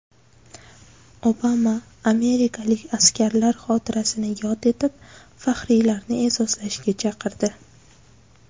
Obama amerikalik askarlar xotirasini yod etib, faxriylarni e’zozlashga chaqirdi.